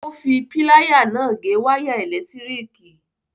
Ó fi pláyà náà gé wáyà ẹ̀lẹ̀tíríkì.